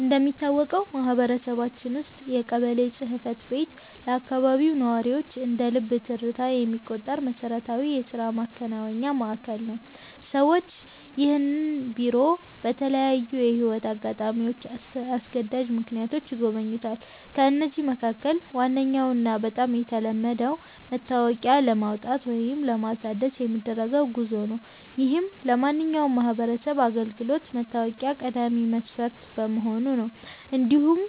እንደሚታወቀው በማህበረሰባችን ውስጥ የቀበሌ ጽሕፈት ቤት ለአካባቢው ነዋሪዎች እንደ ልብ ትርታ የሚቆጠር መሠረታዊ የሥራ ማከናወኛ ማዕከል ነው። ሰዎች ይህንን ቢሮ በተለያዩ የሕይወት አጋጣሚዎችና አስገዳጅ ምክንያቶች ይጎበኙታል። ከነዚህም መካከል ዋነኛውና በጣም የተለመደው መታወቂያ ለማውጣት ወይም ለማሳደስ የሚደረገው ጉዞ ነው፤ ይህም ለማንኛውም ማህበራዊ አገልግሎት መታወቂያ ቀዳሚ መስፈርት በመሆኑ ነው። እንዲሁም